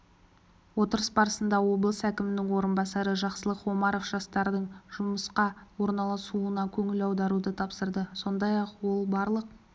отырыс барысында облыс әкімінің орынбасары жақсылық омаров жастардың жұмысқа орналасуына көңіл аударуды тапсырды сондай-ақ ол барлық